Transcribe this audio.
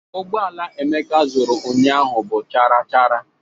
Ụgbọala Emeka zuru ụnyaahụ bụ charachara